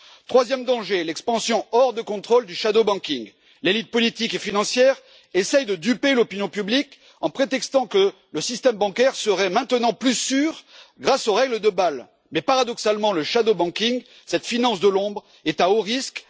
Troisièmement, l'expansion hors de contrôle du shadow banking l'élite politique et financière essaie de duper l'opinion publique en prétextant que le système bancaire serait maintenant plus sûr grâce aux règles de Bâle, mais paradoxalement le shadow banking cette finance de l'ombre, est à haut risque.